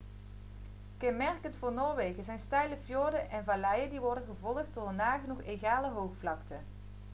kenmerkend voor noorwegen zijn steile fjorden en valleien die worden gevolgd door een nagenoeg egale hoogvlakte